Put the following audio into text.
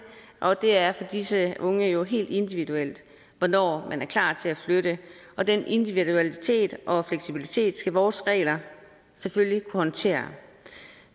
og det er for disse unge jo helt individuelt hvornår man er klar til at flytte og den individualitet og fleksibilitet skal vores regler selvfølgelig kunne håndtere